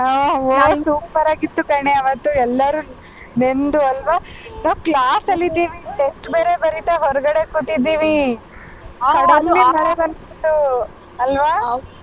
ಹಾ ಓ super ಆಗಿತ್ತು ಕಣೆ ಅವತ್ತು ಎಲ್ಲರೂ ನೆಂದು ಅಲ್ವಾ class ಅಲ್ಲಿದೀವಿ test ಬೇರೆ ಬರೀತಾ ಹೊರಗಡೆ ಕೂತಿದೀವಿ suddenly ಮಳೆ ಬಂದ್ಬಿಡ್ತು ಅಲ್ವಾ.